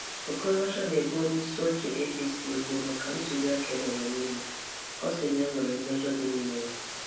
Okorocha na-ebo onye isi oche APC ebubo maka ntùlì-àkà emere n’Imo. Ọ sị na e nwere mmejọ dị n’ime ya.